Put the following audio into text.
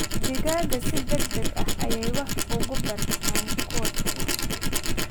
Digaagga si degdeg ah ayay wax uga bartaan kuwa kale.